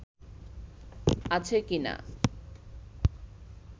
আছে কি-না